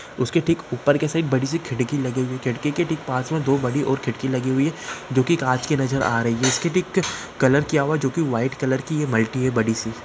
उसके ठीक ऊपर की साइड एक खिड़की लगी हुई है खिड़की के पास मे दो और बड़ी खिड़की लगी हुई है जोकि काँच की नजर आ रही है इसके ठीक कलर किआ हुआ है जोकि व्हाइट कलर की मल्टी है बड़ी सी --